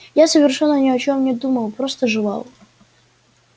я совершенно ни о чём не думал просто жевал